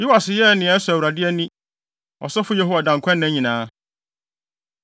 Yoas yɛɛ nea ɛsɔ Awurade ani, ɔsɔfo Yehoiada nkwanna nyinaa.